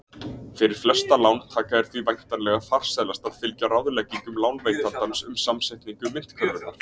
Fyrir flesta lántaka er því væntanlega farsælast að fylgja ráðleggingum lánveitandans um samsetningu myntkörfunnar.